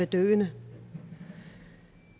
døende